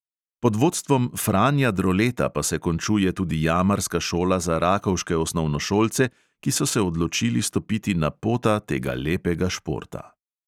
Pod vodstvom franja droleta pa se končuje tudi jamarska šola za rakovške osnovnošolce, ki so se odločili stopiti na pota tega lepega športa.